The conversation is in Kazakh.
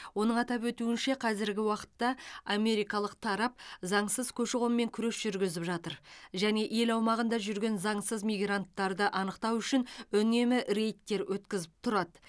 оның атап өтуінше қазіргі уақытта америкалық тарап заңсыз көші қонмен күрес жүргізіп жатыр және ел аумағында жүрген заңсыз мигранттарды анықтау үшін үнемі рейдтер өткізіп тұрады